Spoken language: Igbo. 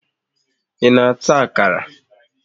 Ị na-ata akara?